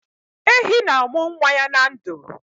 Ehi na-amụ nwa ya na ndụ